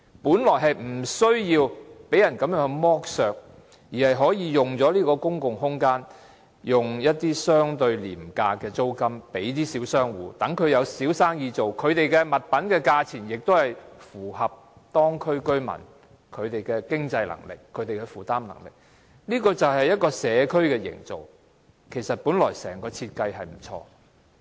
本來我們無須被人剝削，而是可以以相對廉價的租金將這些公共空間租給小商戶，讓他們做小生意，而所出售的物品的價錢亦符合當區居民的經濟能力和負擔能力，這便是一個社區的營造，本來整個設計是很不錯的。